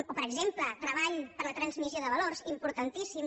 o per exemple treball per a la transmissió de valors importantíssim